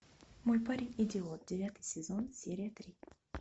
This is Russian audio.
мой парень идиот девятый сезон серия три